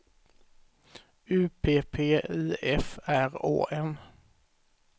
U P P I F R Å N